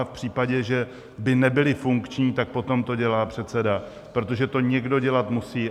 A v případě, že by nebyly funkční, tak potom to dělá předseda, protože to někdo dělat musí.